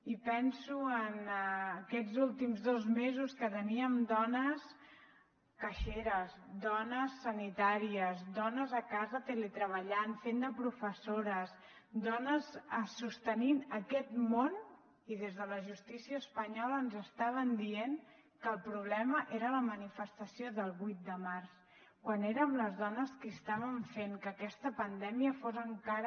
i penso en aquests últims dos mesos que teníem dones caixeres dones sanitàries dones a casa teletreballant fent de professores dones sostenint aquest món i des de la justícia espanyola ens estaven dient que el problema era la manifestació del vuit de març quan érem les dones que estàvem fent que aquesta pandèmia fos encara